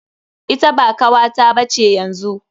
Ita ba kawata ba ce yanzu.